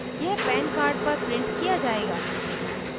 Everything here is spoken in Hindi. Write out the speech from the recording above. यह pan card पर printed किया जायेगा